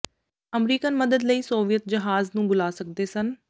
American ਮਦਦ ਲਈ Soviet ਜਹਾਜ਼ ਨੂੰ ਬੁਲਾ ਸਕਦੇ ਸਨ